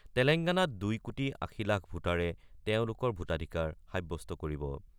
তেলেংগানাত ২ কোটি ৮০ লাখ ভোটাৰে তেওঁলোকৰ ভোটাধিকাৰ সাব্যস্ত কৰিব।